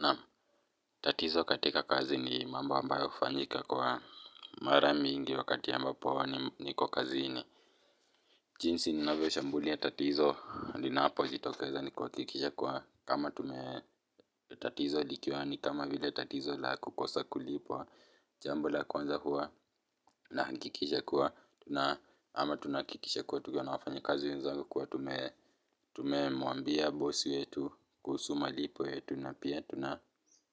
Naam tatizo katika kazi ni mambo ambayo hufanyika kwa mara mingi wakati ambapo niko kazini jinsi ninavyo shambulia tatizo linapo jitokeza ni kuhakikisha kuwa kama tume tatizo likiwa ni kama vile tatizo la kukosa kulipwa jambo la kwanza hua nahakikisha kuwa, ama tunakikisha kuwa tukiwa na wafanya kazi wenzangu kuwa tume tume muambia bosi wetu kuhusu malipo yetu na pia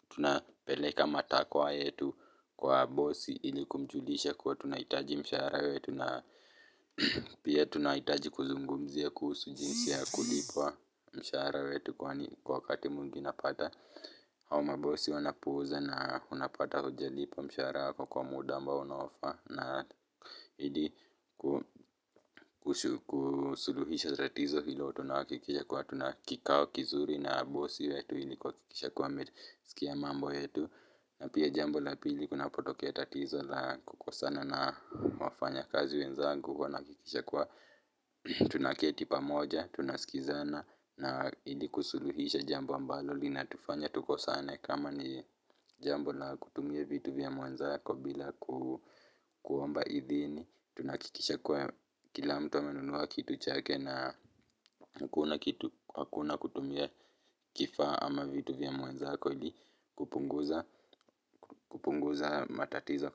tuna peleka matakwa yetu kwa bosi ili kumjulisha kuwa tunahitaji mshahara wetu na pia tunahitaji kuzungumzia kuhusu jinsi ya kulipwa mshahara wetu kwani kwa wakati mwingi napata. Au ma bosi wanapouza na unapata haujalipwa mshahara kwa muda ambao unaofaa naahidi kusuluhisha tatizo hilo tunahakikisha kuwa tuna kikao kizuri na bosi wetu ili kuhakikisha kuwa amesikia mambo yetu na pia jambo la pili kunapo tokea tatizo la kukosana na wafanya kazi wenzangu huwa nahakikisha kuwa tuna keti pamoja, tunasikizana na ili kusuluhisha jambo ambalo lina tufanya tukosane kama ni jambo la kutumia vitu vya mwanzako bila kuomba idhini tunahakikisha kuwa kila mtu amenunua kitu chake na hakuna kutumia kifaa ama vitu vya mwanzako ili kupunguza matatizo kazini.